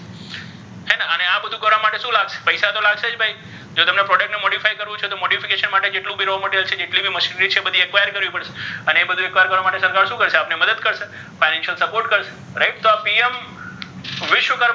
આ બધા કરવા શુ લાગશે પૈસા તો લાગશે જ ભઇ જો તમને product ને modify કરવુ છે modification કરવા માટે મશીનરી છે require કરવી પડશે અને આ બધુ require કરવા માટે શુ કરશે આપણને મદદ કરશે financial support કરશે right તો આ PM વિશ્વકર્મા,